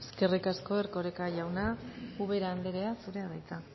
eskerrik asko erkoreka jauna ubera anderea zurea da hitza